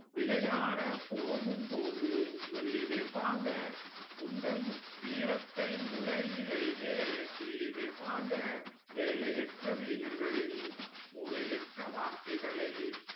விளையாட போகும் போது சொல்லி வைப்பாங்க உந்தன் வீரத்தை முளையிலேயே கிள்ளிவைப்பாங்க வேலையற்ற வீணர்களின் மூளையற்ற வார்த்தைகளை